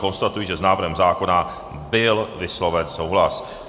Konstatuji, že s návrhem zákona byl vysloven souhlas.